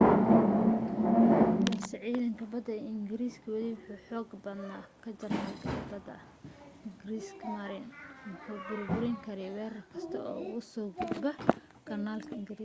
balse ciidanka badda ingiriisku weli wuu ka xoog badnaa ka jarmalka ee badda kriegsmarine waxaanu burburin karayay weerar kasta oo uga soo gudba kanaal ingiriiska